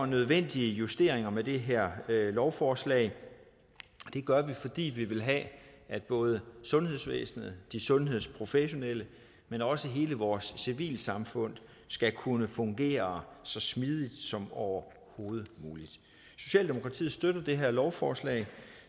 nødvendige justeringer med det her lovforslag det gør vi fordi vi vil have at både sundhedsvæsenet de sundhedsprofessionelle men også hele vores civilsamfund skal kunne fungere så smidigt som overhovedet muligt socialdemokratiet støtter det her lovforslag